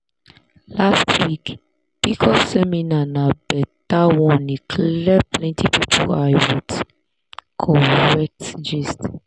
last week pcos seminar na better one e clear plenty people eye with correct gist.